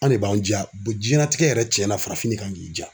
An de b'an diya diɲɛnatigɛ yɛrɛ tiɲɛna farafin kan k'i diya